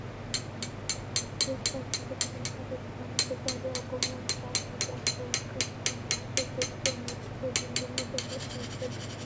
ሩዝ ካብ ዘርኢ ተክሊ ሓደ ዝኮነ ተፃሪዩ ኣብ ጎማ ዝተዓሸገ እንትከውን ኣብ ሱፐርማርኬት ዝርከብ ንወዲ ሰብ ብምግብነት ኣብስልካ ዝጠቅም ምኳኑ ትፈልጡ ዶ ?